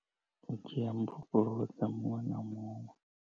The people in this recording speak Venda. U dzhia mbofholowo dza muṅwe na muṅwe.